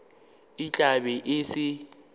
e tla be e sa